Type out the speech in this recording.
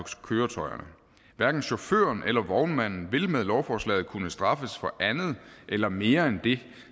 køretøjerne hverken chaufføren eller vognmanden vil med lovforslaget kunne straffes for andet eller mere end det